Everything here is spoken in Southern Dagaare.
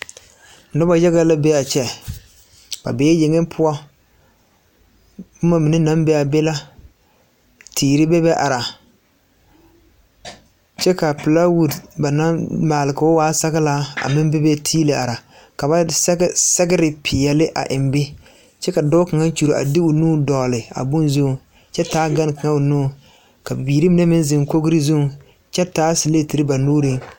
Noba yaga la be a kyɛ a be yeŋeŋ poɔ boma mine naŋ be a be la tere bebe are kyɛ ka a pilaawuudi ba naŋ maa k'o waa saglaa a meŋ bebe tiili are ka ba sɛge sɛgre peɛle a eŋ be kyɛ ka dɔɔ kaŋa kyuri a de o nu dogli a bon zuŋ kyɛ taa gane kaŋa o nuŋ ka biirimine meŋ zeŋ kogri zuŋ kyɛ taa sileeti ba nuŋ.